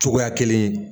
Cogoya kelen